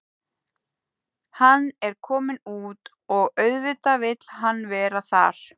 Hann er kominn út og auðvitað vill hann vera þar.